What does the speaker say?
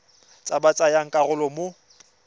ba ba tsayang karolo mo